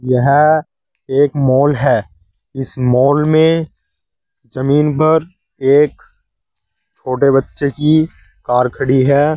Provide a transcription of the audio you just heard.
यह एक माल है इस मॉल में जमीन पर एक छोटे बच्चे की कार खड़ी है।